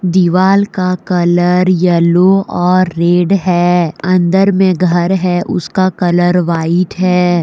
दीवाल का colour yellow और रेड है अंदर में घर है उसका कलर व्हाइट है।